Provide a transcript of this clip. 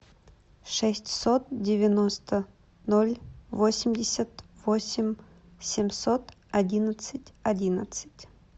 шестьсот девяносто ноль восемьдесят восемь семьсот одиннадцать одиннадцать